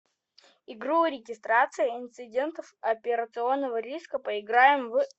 игру регистрация инцидентов операционного риска поиграем в